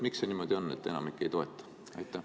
Miks see niimoodi on, et enamik ei toeta?